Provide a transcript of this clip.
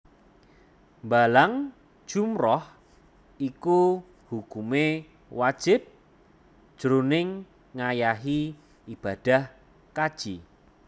Mbalang jumrah iku hukumé wajib jroning ngayahi ibadah kaji